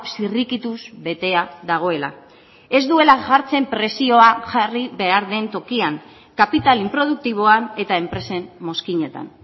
zirrikituz betea dagoela ez duela jartzen presioa jarri behar den tokian kapital inproduktiboan eta enpresen mozkinetan